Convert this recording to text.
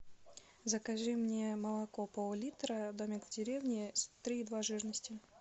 закажи мне молоко пол литра домик в деревне три и два жирности